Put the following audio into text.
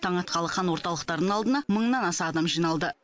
таң атқалы қан орталықтарының алдына мыңнан аса адам жиналды